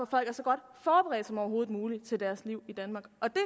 folk er så godt forberedt som overhovedet muligt til deres liv i danmark og det